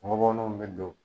Gɔbɔninw bɛ don.